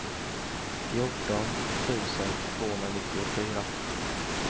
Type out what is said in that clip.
fjorton tusen tvåhundranittiofyra